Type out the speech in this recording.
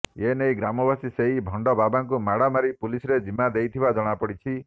ଏନେଇ ଗ୍ରାମବାସୀ ସେହି ଭଣ୍ଡ ବାବାଙ୍କୁ ମାଡ଼ମାରି ପୁଲିସରେ ଜିମା ଦେଇଥିବା ଜଣାପଡ଼ିଛି